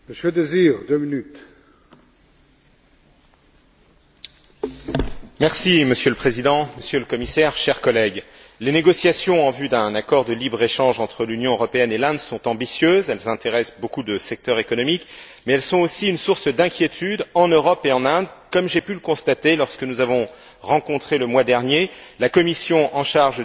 Monsieur le Président, Monsieur le Commissaire, chers collègues, les négociations en vue d'un accord de libre échange entre l'Union européenne et l'Inde sont ambitieuses, elles intéressent beaucoup de secteurs économiques, mais elles sont aussi une source d'inquiétude en Europe et en Inde, comme j'ai pu le constater lors de la rencontre, le mois dernier, entre la commission en charge du commerce des deux chambres du parlement indien et la délégation du Parlement européen pour les relations avec l'Inde.